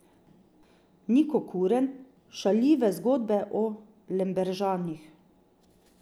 Niko Kuret, Šaljive zgodbe o Lemberžanih.